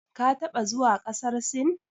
Ka taɓa zuwa ƙasar Sin?